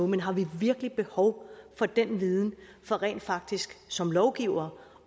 men har vi virkelig behov for den viden for rent faktisk som lovgivere